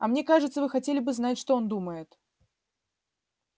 а мне кажется вы хотели бы знать что он думает